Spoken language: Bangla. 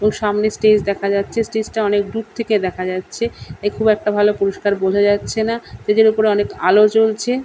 তো সামনে স্টেজ দেখা যাচ্ছে। স্টেজ টা অনেক দূর থেকে দেখা যাচ্ছে তাই খুব একটা ভাল পরিস্কার বোঝা যাচ্ছে না। স্টেজ এর উপরে অনেক আলো জ্বলছে।